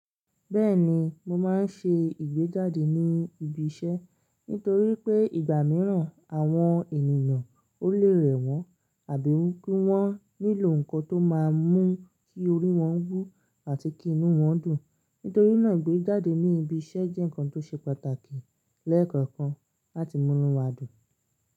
Bẹ́ẹ̀ni, mo máa ń ṣe ìgbéjáde ní ibi iṣẹ́ nítorí pé ìgbà mìíràn àwọn ènìyàn ó lè rẹ̀ wọ́n àbí kí wọ́n nílò ǹkan tó máa mú kí orí wọ́n wú àti kí inú wọ́n dùn. Nítorí náà ìgbéjáde ní ibi iṣẹ́ jẹ́ ǹkan tó ṣe pàtàkì lẹ́ẹ̀kọ̀kan láti mú inú wa dùn.